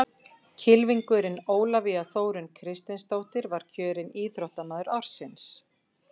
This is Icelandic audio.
Kylfingurinn Ólafía Þórunn Kristinsdóttir var kjörin Íþróttamaður ársins.